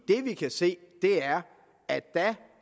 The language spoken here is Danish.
det vi kan se er at dér